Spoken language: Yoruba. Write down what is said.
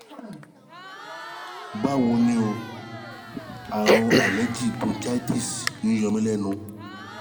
Báwo ni o? Àrùn allergic bronchitis ń yọ mí lẹ́nu